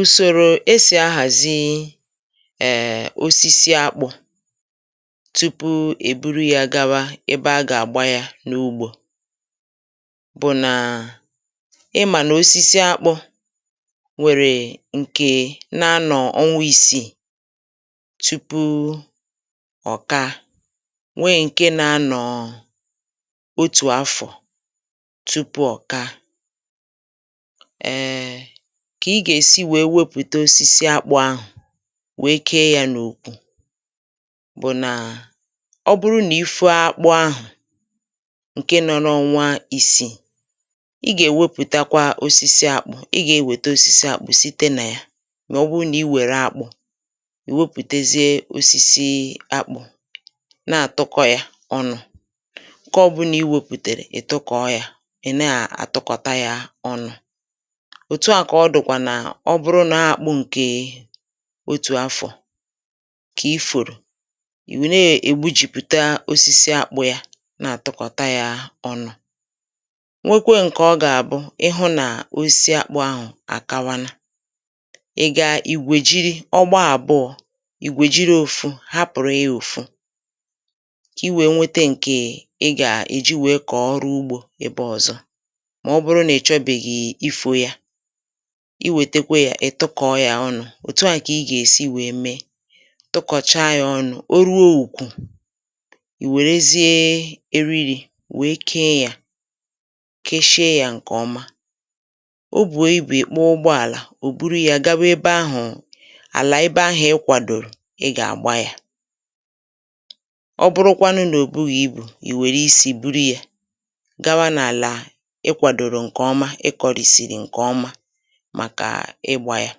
ùsòrò e sì ahàzi, èè osisi akpụ̇ tupu è buru yȧ gawa ebe a gà àgba yȧ, n’ugbȯ bụ̀ nà: ị mà nà osisi akpụ nwèrè ǹkè na-anọ̀ ọnwa ìsì tupu ọ̀ ka a, nwee ǹke nȧ anọ̀ otù afọ̀ tupu ọ̀ kaa. E e kà ị gà-èsi wèe wepùte osisi akpụ̇ ahụ̀, wèe kee yȧ n’ùkwu bụ̀ nà, ọ bụrụ nà ị fụọ akpụ̇ ahụ̀ ǹkè nọrọ ọnwa ìsì, ị gà-èwepùte kwa osisi akpụ̀, ị gà-èwèta osisi akpụ̀ site nà ya, màọbụ bụrụ nà i wère akpụ̇, ì wepùtezie osisi akpụ̇, nà-àtụkọ yȧ ọnụ̇. Nkè ọ bụ na i wepùtèrè, ị̀ tụkọ̀ọ yȧ, ì na-àtụkọta yȧ ọnụ̇. Otu a kà ọ dịkwa na ọ bụrụ nà akpụ ǹkè otù afọ̀, kà ifòrò ì wène è gbujìpùta osisi akpụ̇ ya, na-àtụkọ̀ta yȧ ọnụ̇. Nwekwe ǹkè ọ gà-àbụ, ịhụ nà osisi akpụ̇ ahụ̀ àkawanȧ, ị gȧ i gwèjiri ọgba àbụọ̇, i gwèjiri ofu, hapụ̀rụ̀ yà òfu, kà i wèe nwete ǹkè ị gà à èji wèe kà ọrụ ugbȯ ebe ọzọ. mà ọ bụrụ nà i chọbeghị̀ gị̀ ifo ya, i wètekwa yȧ, ị̀ tụkọ̀ọ yȧ ọnụ̇. Otù ahụ̀ kà ị gà-èsi wèe mee, tụkọ̀cha yȧ ọnụ̇, o ruo ùkwù, ì wèrezie eriri̇ wèe kee yȧ, kee shie yȧ ǹkè ọma. O bùo ìbu, ịkpọọ ụgbọàlà ò buru yȧ gaea ebe ahụ̀, àlà ebe ahụ̀ ị kwàdòrò ị gà-àgba yȧ. ọ bụrụkwanụ nà ò bughị̇ ibù, ì wère isi buru yȧ, gawa n’àlà ị kwàdòrò ǹkè ọma, ị kọ̀rìsìrì ǹkè ọma, màkà ịgbȧ yȧ.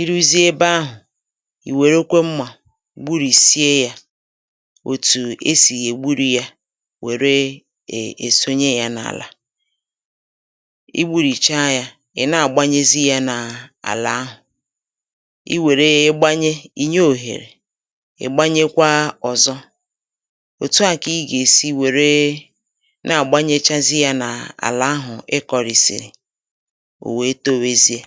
I ruzie ebe ahụ̀, ì wèrekwe mmà gburìsie yȧ, òtù e sì ègburu̇ yȧ, wère è èsonye yȧ n’àlà. I gburìcha yȧ, ị̀ na-àgbanyezi yȧ n’àlà ahụ̀. I wère yà, igbanye ì nye òhèrè, ì gbanyekwa ọ̀zọ. òtu à kà ị gà-èsi wère na-àgbanyechazị yȧ n’àlà ahụ̀ ịkọ̇rìsìrì, o wèè towezie.